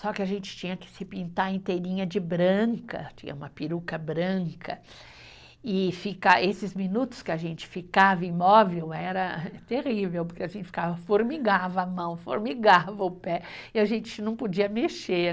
Só que a gente tinha que se pintar inteirinha de branca, tinha uma peruca branca, e fica, esses minutos que a gente ficava imóvel era terrível, porque a gente formigava a mão, formigava o pé, e a gente não podia mexer.